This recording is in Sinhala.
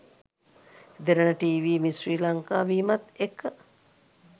දෙරණ ටිවී මිස් ශ්‍රී ලංකා වීමත් එක්ක